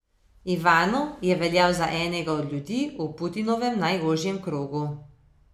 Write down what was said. Ivanov je veljal za enega od ljudi v Putinovem najožjem krogu.